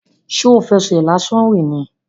Ṣo fẹsẹ̀ lásán rìn ni?